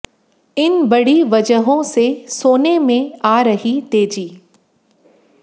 इन बड़ी वजहों से सोने में आ रही तेजी